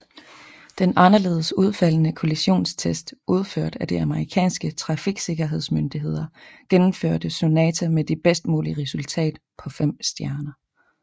Den anderledes udfaldende kollisionstest udført af de amerikanske trafiksikkerhedsmyndigheder gennemførte Sonata med det bedst mulige resultat på fem stjerner